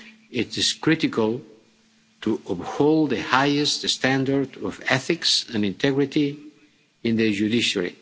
It is critical to uphold the highest standards of ethics and integrity in the judiciary.